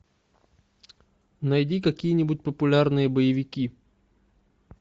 найди какие нибудь популярные боевики